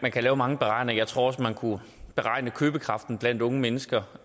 kan lave mange beregninger jeg tror også man kunne beregne købekraften blandt unge mennesker